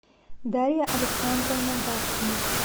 дарья александровна гаршина